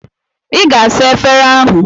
Ị ga-asa efere ahụ.